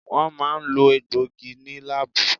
Wọ́n máa ń lo egbòogi ní láábù.